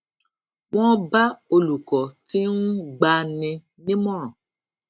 wón bá olùkó tí n gba ni nímọràn